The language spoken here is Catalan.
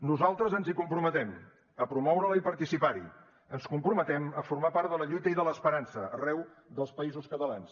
nosaltres ens hi comprometem a promoure la i participar hi ens comprometem a formar part de la lluita i de l’esperança arreu dels països catalans